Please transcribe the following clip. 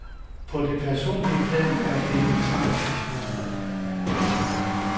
På det personlige plan er det en tragisk historie.